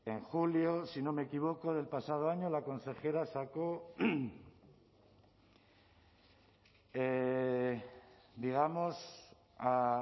en julio si no me equivoco del pasado año la consejera sacó digamos a